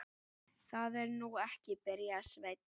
Það er nú ekki. byrjaði Sveinn.